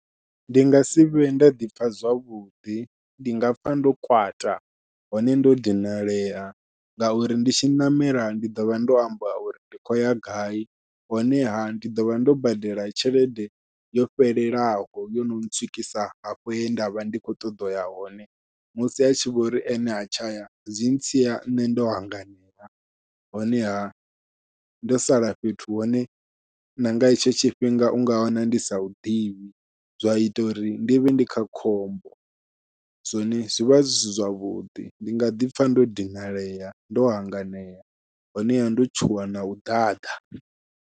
Ndi nga sivhe nda ḓipfha zwavhuḓi ndi nga pfha ndo kwata hone ndo dinalea ngauri ndi tshi ṋamela ndi ḓovha ndo amba uri ndi khou ya gai, honeha ndi ḓovha ndo badela tshelede yo fhelelaho yono ntswikisa hafho he ndavha ndi kho ṱoḓa uya hone musi a tshi vhori ene ha tshaya zwi ntsia nṋe ndo hanganea, honeha ndo sala fhethu hune na nga hetsho tshifhinga unga wana ndi sa huḓivhi zwa ita uri ndi vhe ndi kha khombo, zwone zwivha zwi si zwavhuḓi ndi nga ḓipfha ndo dinalea ndo hanganea honeha ndo tshuwa nau ḓaḓa.